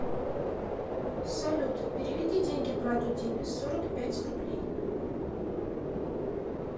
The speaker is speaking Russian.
салют переведи деньги брату диме сорок пять рублей